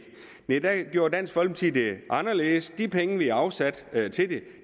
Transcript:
dansk folkeparti gjorde det anderledes de penge vi afsatte til det